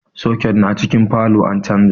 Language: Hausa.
Soket na cikin falow an canja